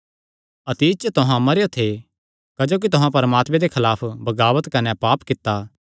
अतीत च तुहां मरेयो थे क्जोकि तुहां परमात्मे दे खलाफ बगाबत कने पाप कित्ता